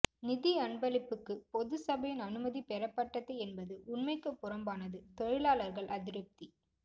நிதி அன்பளிப்புக்கு பொதுச் சபையின் அனுமதி பெறப்பட்டது என்பது உண்மைக்கு புறம்பானது தொழிலாளர்கள் அதிருப்தி